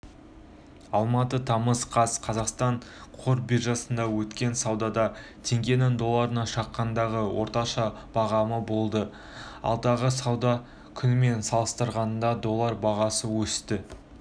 алматы тамыз қаз қазақстан қор биржасында өткен саудада теңгенің долларына шаққандағы орташа бағамы болды алдыңғы сауда күнімен салыстырғанда доллар бағасы өсті